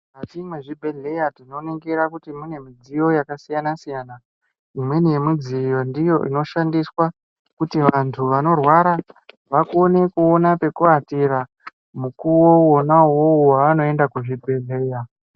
Mukati mwezvibhedhleya tinoningira kuti mune midziyo yakasiyana-siyana. Imweni yemidziyo ndiyo inoshandiswa kuti antu anorwara vakone kuona pekuatira mukuvo vona vovo vanoenda kuzvibhedhleya.